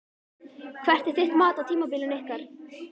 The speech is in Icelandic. Hvert er þitt mat á tímabilinu ykkar?